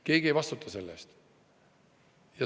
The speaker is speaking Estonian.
Keegi ei vastuta selle eest.